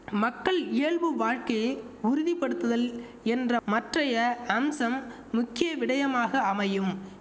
மக்கள் இயல்பு வாழ்க்கையை உறுதிப்படுத்துதல் என்ற மற்றைய அம்சம் முக்கிய விடயமாக அமையும்